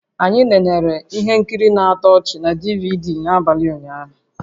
Anyị nenere ihe nkiri na-atọ ọchị na DVD n'abalị ụnyaahụ